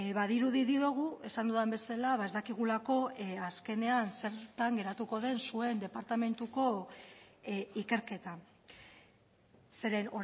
badirudi diogu esan dudan bezala ez dakigulako azkenean zertan geratuko den zuen departamentuko ikerketa zeren